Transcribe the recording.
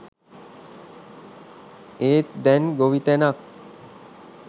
ඒත් දැන් ගොවිතැනත්